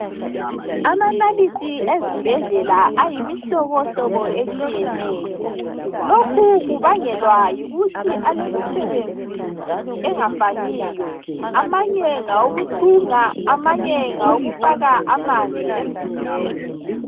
Amanalithi ezibhedlela ayimihlobohlobo etshiyeneyo. Lokhu kubangelwa yikuthi alemisebenzi engafaniyo. Amanye ngawo kuthunga amanye ngawo kufaka amanzi emzimbeni.